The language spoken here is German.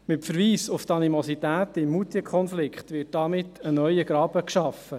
Mit Verweis auf die Animositäten im Moutierkonflikt wird damit ein neuer Graben geschaffen: